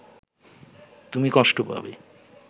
তুমি কষ্ট পাবে